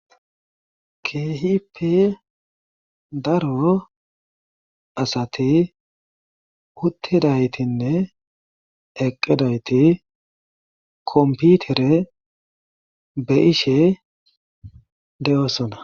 Keehippe daro asati uttidaytinne eqqidayti kompitire be'ishe de'osona.